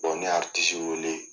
ne ye wele.